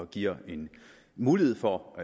giver en mulighed for